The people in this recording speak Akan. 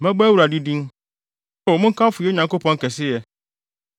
Mɛbɔ Awurade din. O, monkamfo yɛn Nyankopɔn kɛseyɛ!